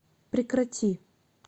прекрати